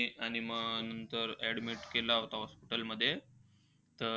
आणि मग admit तर केलं होतं hospital मध्ये. तर,